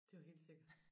Det jo helt sikkert